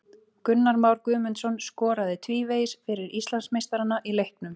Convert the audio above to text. Gunnar Már Guðmundsson skoraði tvívegis fyrir Íslandsmeistarana í leiknum.